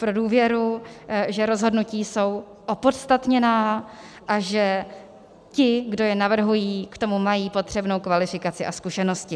Pro důvěru, že rozhodnutí jsou opodstatněná a že ti, kdo je navrhují, k tomu mají potřebnou kvalifikaci a zkušenosti.